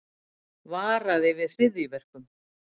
Varaði við hryðjuverkum